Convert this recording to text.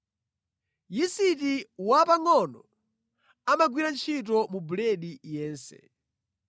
“Yisiti wapangʼono amagwira ntchito mu buledi yense.”